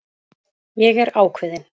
Ég er ákveðin.